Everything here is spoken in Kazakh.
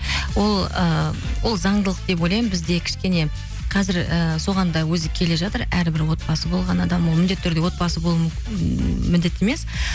ы ол заңдылық деп ойлаймын бізде кішкене қазір і соған да өзі келе жатыр әрбір отбасы болған адам ол міндетті түрде отбасы болу ммм міндетті емес